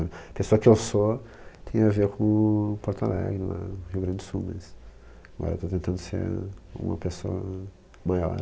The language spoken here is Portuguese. A pessoa que eu sou tem a ver com Porto Alegre lá, Rio Grande do Sul, mas agora eu estou tentando ser uma pessoa maior.